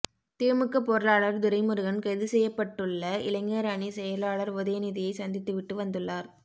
திமுக பொருளாளர் துரைமுருகன் கைது செய்யப்பட்டுள்ள இளைஞர் அணி செயலாளர் உதயநிதியை சந்தித்துவிட்டு வந்துள்ளார்